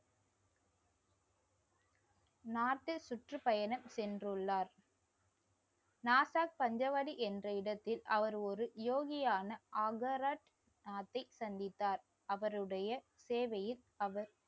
north ல் சுற்றுப்பயணம் சென்றுள்ளார் நாசாக் பஞ்சவாடி என்ற இடத்தில் அவர் ஒரு யோகியான ஆகராட் நாத்தை சந்தித்தார் அவருடைய சேவையில் அவர்.